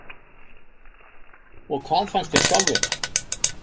Og hvað fannst þér sjálfum?